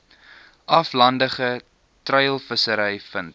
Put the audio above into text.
aflandige treilvissery vind